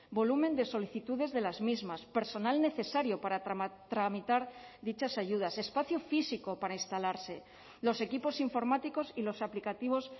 volumen de solicitudes de las mismas personal necesario para tramitar dichas ayudas espacio físico para instalarse los equipos informáticos y los aplicativos